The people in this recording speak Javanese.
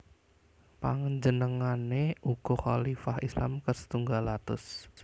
Panjenengané uga Khalifah Islam kasetunggal atus